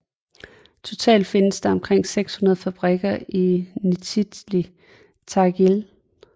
Totalt findes der omkring 600 fabrikker i Nizjnij Tagil